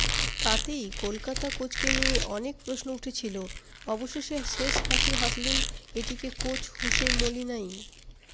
তাতেই কলকাতা কোচকে নিয়ে অনেক প্রশ্ন উঠেছিল অবশেষে শেষ হাসি হাসলেন এটিকে কোচ হোসে মোলিনাই